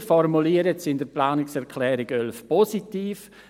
Wir formulieren es in der Planungserklärung 11 positiv: